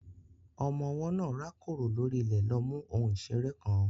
Ọmọ ọwọ́ náà rákòrò lórí ilẹ̀ lọ mú ohun ìṣeré kan.